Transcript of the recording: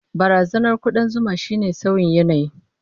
Barazanar kudan zuma shine sauyin yanayi.